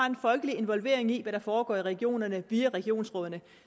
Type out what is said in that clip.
en folkelig involvering i hvad der foregår i regionerne via regionsrådene